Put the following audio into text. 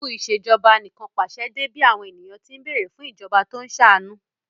Ìṣubú u Ìṣèjọba Anìkànpàṣẹ dé bí àwọn ènìyàn tí ń bẹ̀ẹ̀rẹ̀ fún ìjọba tó ń ṣàánú